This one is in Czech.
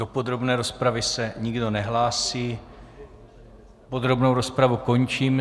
Do podrobné rozpravy se nikdo nehlásí, podrobnou rozpravu končím.